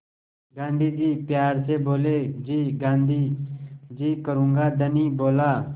गाँधी जी प्यार से बोले जी गाँधी जी करूँगा धनी बोला